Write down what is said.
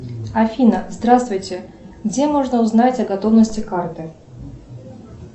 афина здравствуйте где можно узнать о готовности карты